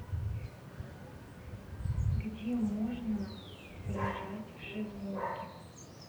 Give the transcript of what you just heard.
где можно полежать в шезлонге